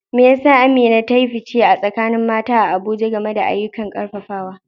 Me yasa Amina ta yi fice a tsakanin mata a Abuja game da ayyukan karfafawa?